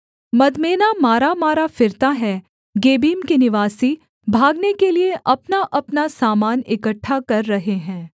मदमेना मारामारा फिरता है गेबीम के निवासी भागने के लिये अपनाअपना समान इकट्ठा कर रहे हैं